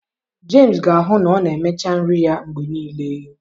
Jemsị ga-ahụ na ọ na-emecha nri ya mgbe niile.